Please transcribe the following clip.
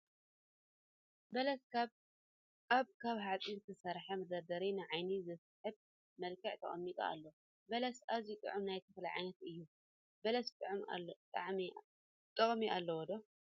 በለስ ኣብ ካብ ሓፂን ዝተሰርሐ መደርደሪ ንዓይኒ ብዝስሕብ መልክዑ ተቀሚጡ ኣሎ። በለስ ኣዝዩ ጥዑም ናይ ተክሊ ዓይነት እዩ። በለስ ጥቅሚ ኣለዎ ዶ ?